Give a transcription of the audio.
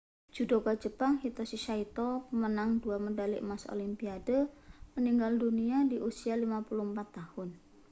judoka jepang hitoshi saito pemenang dua medali emas olimpiade meninggal dunia di usia 54 tahun